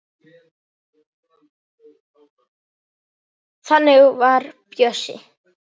Þannig var Bjössi.